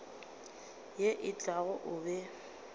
ye e tlago o be